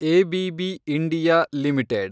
ABB India limited